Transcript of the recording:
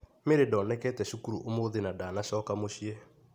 Mery ndonekete cukuru ũmthĩ na ndanacoka mũciĩ.